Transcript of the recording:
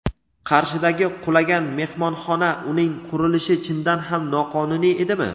Qarshidagi qulagan mehmonxona: uning qurilishi chindan ham noqonuniy edimi?.